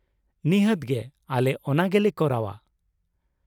ᱱᱤᱷᱟᱹᱛ ᱜᱮ, ᱟᱞᱮ ᱚᱱᱟ ᱜᱮᱞᱮ ᱠᱚᱨᱟᱣᱼᱟ ᱾